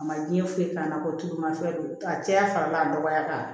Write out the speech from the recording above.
A ma diɲɛ foyi k'a la ko tuuma fɛn don a cɛya fana b'a nɔgɔya k'a